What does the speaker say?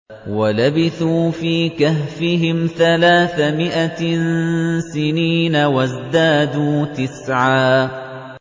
وَلَبِثُوا فِي كَهْفِهِمْ ثَلَاثَ مِائَةٍ سِنِينَ وَازْدَادُوا تِسْعًا